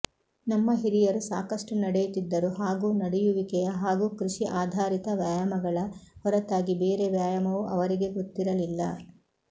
ನಮ್ಮ ಹಿರಿಯರು ಸಾಕಷ್ಟು ನಡೆಯುತ್ತಿದ್ದರು ಹಾಗೂ ನಡೆಯುವಿಕೆಯ ಹಾಗೂ ಕೃಷಿ ಆಧಾರಿತ ವ್ಯಾಯಾಮಗಳ ಹೊರತಾಗಿ ಬೇರೆ ವ್ಯಾಯಾಮವೂ ಅವರಿಗೆ ಗೊತ್ತಿರಲಿಲ್ಲ